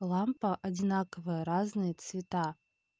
лампа одинаковая разные цвета